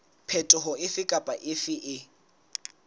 phetoho efe kapa efe e